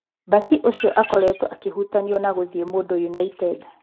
Mbaki ũcio akoretwo akĩhutanio na gũthiĩ Mũndũ United.